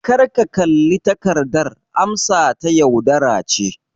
Kar ka kalli takardar amsata - yaudara ce.